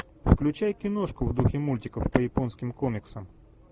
включай киношку в духе мультиков по японским комиксам